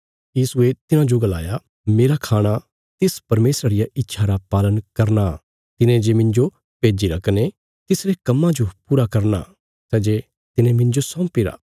यीशुये तिन्हांजो गलाया मेरा खाणा तिस परमेशरा रिया इच्छा रा पालन करना हया तिने जे मिन्जो भेज्जिरा कने तिसरे कम्मा जो पूरा करना सै जे तिने मिन्जो सौंपीरा